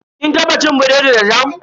Kin taba cin biredi da jam?